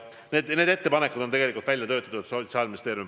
Need ettepanekud on välja töötatud Sotsiaalministeeriumis.